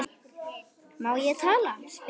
Má ég tala? spyr Eyþór.